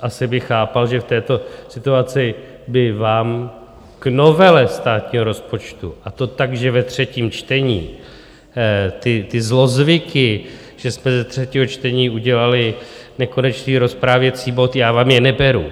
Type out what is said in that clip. asi bych chápal, že v této situaci by vám k novele státního rozpočtu, a to tak, že ve třetím čtení ty zlozvyky, že jsme ze třetího čtení udělali nekonečný rozprávěcí bod, já vám je neberu.